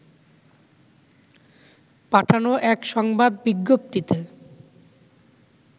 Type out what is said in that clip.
পাঠানো এক সংবাদ বিজ্ঞপ্তিতে